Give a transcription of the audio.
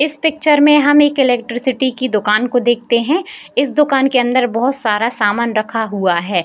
इस पिक्चर में हम एक इलेक्ट्रिसिटी की दुकान को देखते हैं इस दुकान के अंदर बहुत सारा सामान रखा हुआ है।